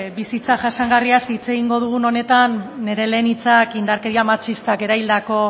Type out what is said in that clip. bizitza jasangarriaz hitz egingo dugun honetan nire lehen hitzak indarkeria matxistak eraildako